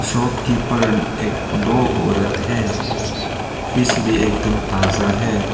चौकी पर एक दो औरत हैं फीस भी एकदम ताजा है।